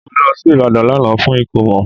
Mo lọ sí Ìbàdàn lánàá fún ìkómọ